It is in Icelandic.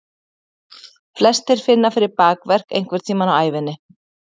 Flestir finna fyrir bakverk einhvern tímann á ævinni.